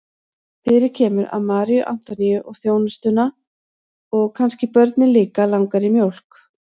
Fyrir kemur að Maríu Antoníu og þjónustuna og kannski börnin líka langar í mjólk.